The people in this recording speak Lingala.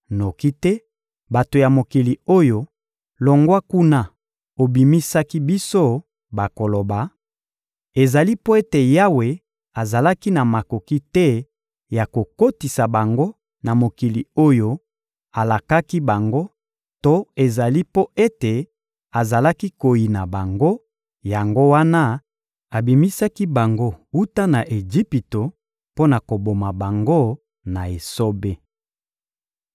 noki te bato ya mokili oyo longwa kuna obimisaki biso, bakoloba: ‹Ezali mpo ete Yawe azalaki na makoki te ya kokotisa bango na mokili oyo alakaki bango to ezali mpo ete azalaki koyina bango, yango wana abimisaki bango wuta na Ejipito mpo na koboma bango na esobe.›